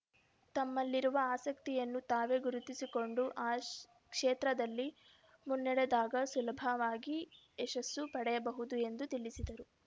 ತಮ್ಮಲ್ಲಿರುವ ಆಸಕ್ತಿಯನ್ನು ತಾವೇ ಗುರುತಿಸಿಕೊಂಡು ಆ ಕ್ಷೇತ್ರದಲ್ಲಿ ಮುನ್ನಡೆದಾಗ ಸುಲಭವಾಗಿ ಯಶಸ್ಸು ಪಡೆಯಬಹುದು ಎಂದು ತಿಳಿಸಿದರು